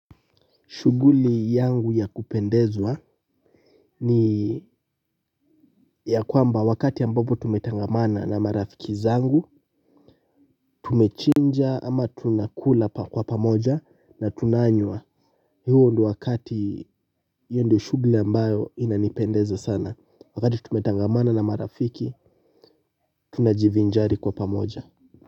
Shughuli yangu ya kupendezwa ni ya kwamba wakati ambapo tumetangamana na marafiki zangu. Tumechinja ama tunakula kwa pamoja na tunanywa eeeh huo ndo wakati, hii ndo shughuli ambayo inanipendeza sana wakati tumetangamana na marafiki tunajivijali kwa pamoja.